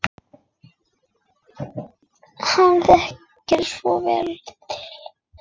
Hann þekkir svo vel til.